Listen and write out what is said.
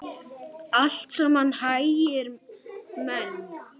Allt saman hægri menn!